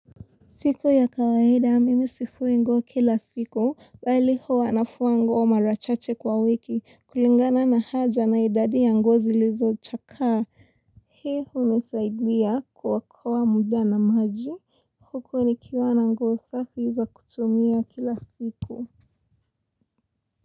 Siku ya kawaida, mimi sifui nguo kila siku, bali huwa nafua nguo mara chache kwa wiki, kulingana na haja na idadi ya nguo zilizochakaa. Hii hunisaidia kuokoa muda na maji, huku nikiwa na nguo safi za kutumia kila siku.